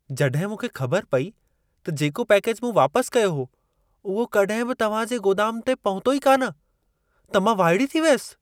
जॾहिं मूंखे ख़बर पई त जेको पैकेज मूं वापसि कयो हो उहो कॾहिं बि तव्हां जे गोदाम ते पहुतो ई कान, त मां वाइड़ी थी वयसि।